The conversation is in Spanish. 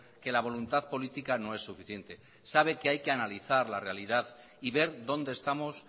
que la voluntad política no es suficiente sabe que hay que analizar la realidad y ver dónde estamos